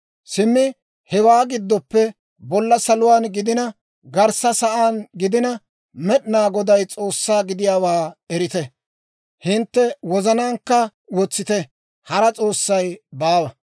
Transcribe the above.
«Simmi hewaa gidooppe, bolla saluwaan gidina, garssa sa'aan gidina, Med'inaa Goday S'oossaa gidiyaawaa erite; hintte wozanaankka wotsite; hara s'oossay baawa.